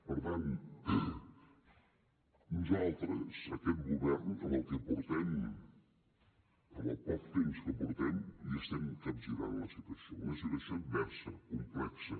per tant nosaltres aquest govern amb el que portem amb el poc temps que portem li estem capgirant la situació una situació adversa complexa